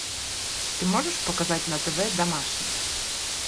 ты можешь показать на тв домашний